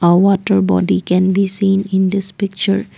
a water bottle can be seen in this picture.